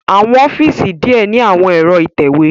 Awọn ọfiisi diẹ ni awọn ẹ̀ro itẹwe